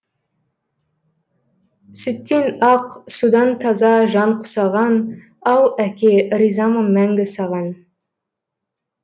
сүттен ақ судан таза жан құсаған ау әке ризамын мәңгі саған